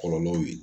Kɔlɔlɔw ye